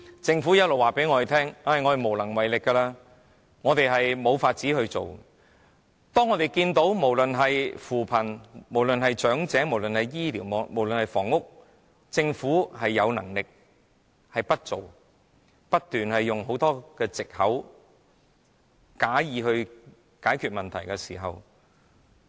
政府不斷告訴我們無能為力及無法處理，但政府在扶貧、安老、醫療及房屋方面其實是有能力解決問題的，但卻不行動，反而不斷提出種種藉口，或假意解決問題。